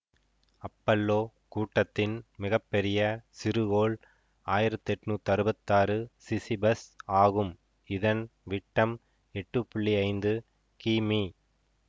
Apollo கூட்டத்தின் மிக பெரிய சிறுகோள் ஆயிரத்தி எண்ணூற்றி அறுபத்தி ஆறு சிசிபஸ் ஆகும் இதன் விட்டம் எட்டு புள்ளி ஐந்து கி மீ